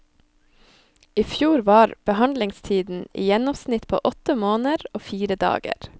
I fjor var behandlingstiden i gjennomsnitt på åtte måneder og fire dager.